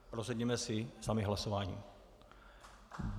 Rozhodněme si sami hlasováním.